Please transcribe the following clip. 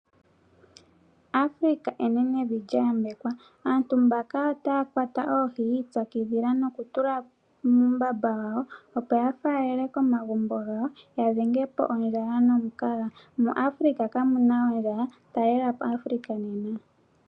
Afrika enenevi lya yambekwa. Aantu mbaka otaya kwata oohi yi ipyakidhila nokutula muumbamba wawo, opo ya faalele komagumbo gawo ya dhenge po ondjala nomukaga. MuAfrika kamu na ondjala. Talela po Afrika nena!